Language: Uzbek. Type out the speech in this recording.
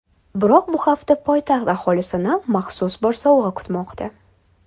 Biroq bu hafta poytaxt aholisini maxsus bir sovg‘a kutmoqda.